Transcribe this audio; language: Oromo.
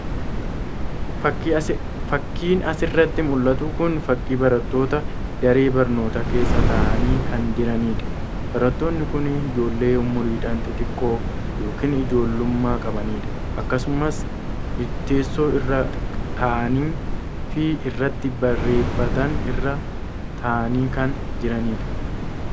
Fakiin asirratti mul'atu kun fakii barattoota daree barnoota keessa ta'anii kan jiranidha. barattoonni kun ijoollee umuriidhaan xixxiqqoo yookiin ijoollumma qabanidha. Akkasumas teessoo irra taa'anii fi irratti barreeffatan irra taa'anii kan jiranidha.